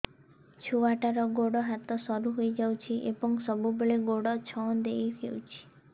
ଛୁଆଟାର ଗୋଡ଼ ହାତ ସରୁ ହୋଇଯାଇଛି ଏବଂ ସବୁବେଳେ ଗୋଡ଼ ଛଂଦେଇ ହେଉଛି